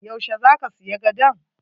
Yau she zaka siya gadon?